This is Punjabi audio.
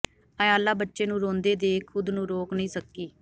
ਆਯਾਲਾ ਬੱਚੇ ਨੂੰ ਰੋਂਦੇ ਦੇਖ ਖ਼ੁਦ ਨੂੰ ਰੋਕ ਨਹੀਂ ਸਕੀ